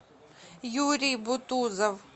юрий бутузов